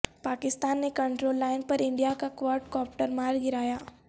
پاکستان نے control line پر India کا کواڈ کاپٹر مار گرایا